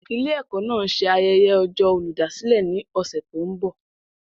Ilé-ẹ̀kọ́ náà ń ṣe ayẹyẹ ọjọ́ olùdásílẹ̀ ní ọ̀sẹ̀ tó ń bọ̀.